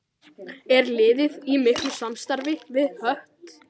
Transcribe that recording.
Er liðið í miklu samstarfi við Hött?